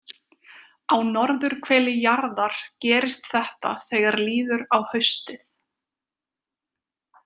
Á norðurhveli jarðar gerist þetta þegar líður á haustið.